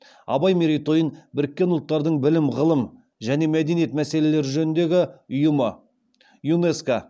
абай мерейтойын біріккен ұлттардың білім ғылым және мәдениет мәселелері жөніндегі ұйымы